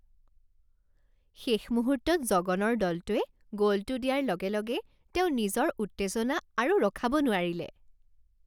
শেষ মুহূৰ্তত জগনৰ দলটোৱে গ'লটো দিয়াৰ লগে লগে তেওঁ নিজৰ উত্তেজনা আৰু ৰখাব নোৱাৰিলে